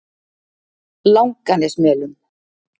Langanesmelum